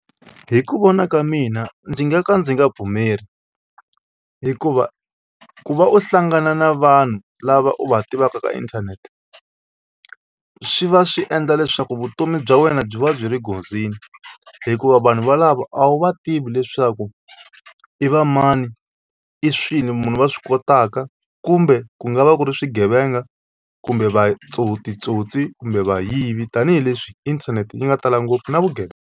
Hi ku vona ka mina ndzi nga ka ndzi nga pfumeli hikuva ku va u hlangana na vanhu lava u va tivaka ka inthanete swi va swi endla leswaku vutomi bya wena byi va byi ri nghozini hikuva vanhu valavo a wu va tivi leswaku i va mani i swilo muni va swi kotaka kumbe ku nga va ku ri swigevenga kumbe titsotsi kumbe vayivi tanihileswi inthanete yi nga tala ngopfu na .